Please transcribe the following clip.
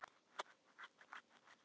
Eysteinn, ekki fórstu með þeim?